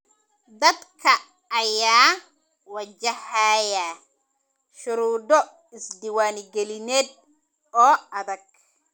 Dadka ayaa wajahaya shuruudo isdiiwaangelineed oo adag.